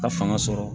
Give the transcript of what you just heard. A fanga sɔrɔ